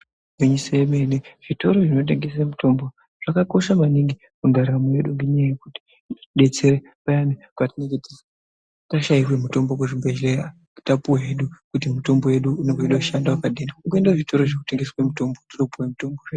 Igwinyiso yemene, zvitoro zvinotengese mitombo zvakakosha maningi mundaramo mwedu ngendaa yekuti zvinodetsere payani patinenge tashaiwe mitombo kuzvibhadhlera tapiwa hedu kuti mitombo yedu inenge yeida kushanda wakadini, kungoende kuzvitoro zvinotengeswe mitombo totopuwe mutombo.